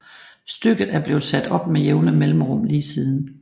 Stykket er blevet sat op med jævne mellemrum lige siden